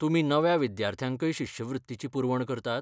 तुमी नव्या विद्यार्थ्यांकय शिश्यवृत्तीची पुरवण करतात?